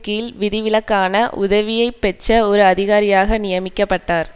கீழ் விதிவிலக்கான உதவியை பெற்ற ஒரு அதிகாரியாக நியமிக்க பட்டார்